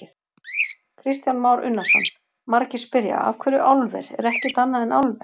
Kristján Már Unnarsson: Margir spyrja: Af hverju álver, er ekkert annað en álver?